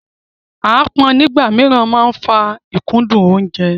Aápọn nígbà mìíràn máa ń fa ìkúndù oúnjẹ.